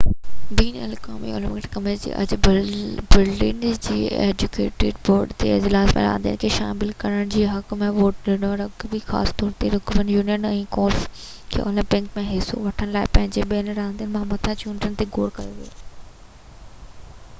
بين الاقوامي Olympic committee اڄ Berlin ۾ ان جي ايگزيڪيوٽو بورڊ جي اجلاس ۾ راندين کي شامل ڪرڻ جي حق ۾ ووٽ ڏنو رگبي خاص طور تي رگبي يونين ۽ گولف کي اولمپڪ ۾ حصو وٺڻ لاءِ پنجن ٻين راندين مٿان چونڊڻ جو غور ڪيو ويو هو